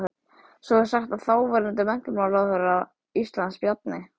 Svo er sagt að þáverandi menntamálaráðherra Íslands, Bjarni